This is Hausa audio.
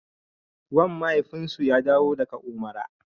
Wan mafaifinsu ya dawo daga Umara.